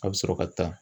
A bɛ sɔrɔ ka taa